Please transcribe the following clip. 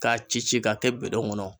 K'a ci ci k'a kɛ kɔnɔ.